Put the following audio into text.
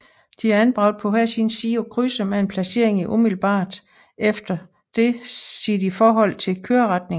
De er anbragt på hver sin side af krydset med en placering umiddelbart efter dette set i forhold til køreretningen